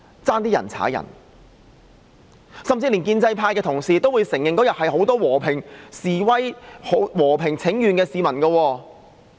在當日的集會上，連建制派的同事也會承認很多都是和平示威請願的市民。